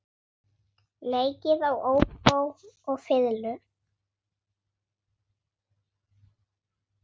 Leikið á óbó og fiðlu.